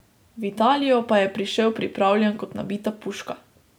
V Italijo pa je prišel pripravljen kot nabita puška.